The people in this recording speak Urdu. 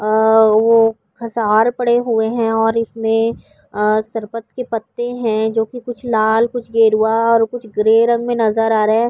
آ و حصار پڑے ہوئے ہے اور اسمے سرپٹ کے پتے ہے۔ جو کی کچھ لال کچھ گروا کچھ گرے رنگ مے نظر آ رہے ہے۔